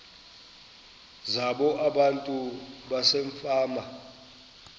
zabo abantu basefama